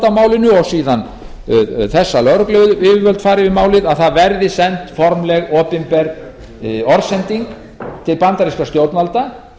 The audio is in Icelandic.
á málinu og síðan þess að lögregluyfirvöld fari með málið verði send formleg opinber orðsending til bandarískra stjórnvalda